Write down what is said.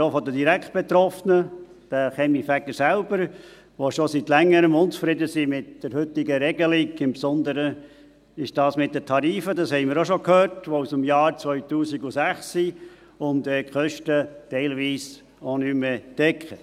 …]», aber auch von den direkt Betroffenen, den Kaminfegern selber, die mit der heutigen Regelung schon seit Längerem unzufrieden sind – im Besonderen die Sache mit den Tarifen, die aus dem Jahr 2006 sind und die Kosten teilweise auch nicht mehr decken;